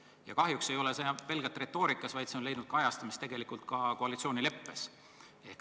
Ja kahjuks ei ole see nii pelgalt retoorikas, vaid leidnud kajastamist ka koalitsioonileppes.